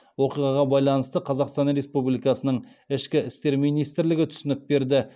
оқиғаға байланысты қазақстан республикасының ішкі істер министрлігі түсінік берді